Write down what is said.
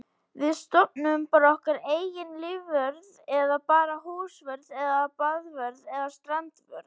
Við stofnum bara okkar eigin lífvörð eða bara húsvörð eða baðvörð eða strandvörð.